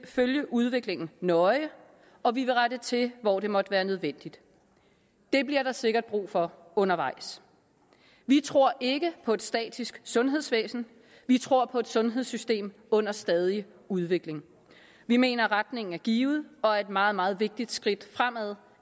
følge udviklingen nøje og vi vil rette til hvor det måtte være nødvendigt det bliver der sikkert brug for undervejs vi tror ikke på et statisk sundhedsvæsen vi tror på et sundhedssystem under stadig udvikling vi mener at retningen er givet og at et meget meget vigtigt skridt fremad